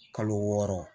Kalo wɔɔrɔ